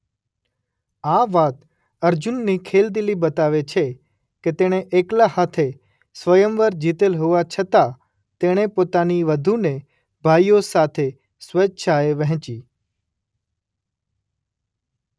આ વાત અર્જુનની ખેલદિલી બતાવે છે કે તેણે એકલા હાથે સ્વયંવર જીતેલ હોવા છતાં તેણે પોતાની વધૂને ભાઈઓ સાથે સ્વેચ્છાએ વહેંચી.